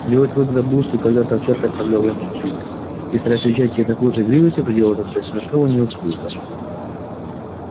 белый клык забыл что когда то овчарка отравляла ему жизнь и стараясь отвечать ей такой же игривостью проделывал это до смешного неуклюже